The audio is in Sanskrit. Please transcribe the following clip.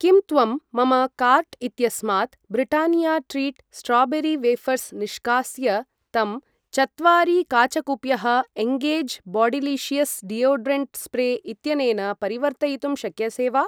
किं त्वं मम काार्ट् इत्यस्मात् ब्रिटानिया ट्रीट् स्ट्राबेरी वेफर्स् निष्कास्य तं चत्वारि काचकूप्यः एङ्गेज् बाडिलिशियस् डीयोडरण्ट् स्प्रे इत्यनेन परिवर्तयितुं शक्यसे वा?